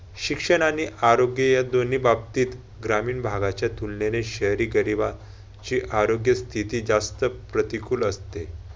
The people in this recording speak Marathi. शिक्षण आणि आरोग्य या दोन्ही बाबतीत ग्रामीण भागाच्या तुलनेने शहरी गरिबांची आरोग्य स्थिती जास्त प्रतिकूल असते.